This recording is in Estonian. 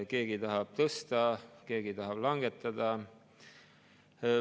Keegi tahab tõsta, keegi tahab langetada.